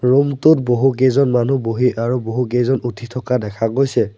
Room টোত বহুকেইজন মানুহ বহি আৰু বহুকেইজন উঠি থকা দেখা গৈছে।